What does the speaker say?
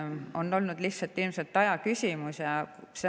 Ilmselt on lihtsalt aja küsimus olnud.